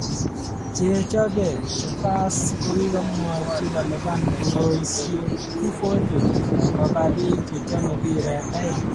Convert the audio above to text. Chechope, The Fasts kokokimwochi kolipan uroisiek 240 kopa biik chechome mbiret aeng